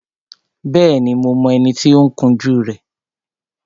Bẹ́ẹ̀ni, mo mọ ẹni tí ó ń kun jú rẹ